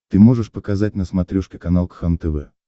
ты можешь показать на смотрешке канал кхлм тв